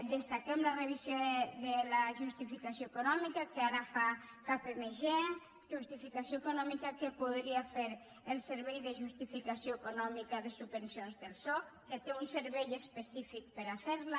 destaquem la revisió de la justificació econòmica que ara fa kpmg justificació econòmica que podria fer el servei de justificació econòmica de subvencions del soc que té un servei específic per fer la